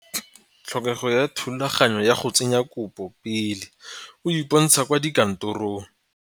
Tlhokego ya thulaganyo ya go tsenya kopo pele o iponatsha kwa dikantorong.